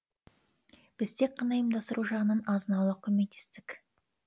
біз тек қана ұйымдастыру жағынан азын аулақ көмектестік